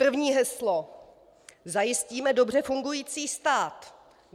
První heslo: Zajistíme dobře fungující stát.